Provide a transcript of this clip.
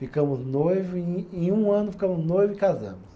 Ficamos noivos em em um ano ficamos noivo e casamos.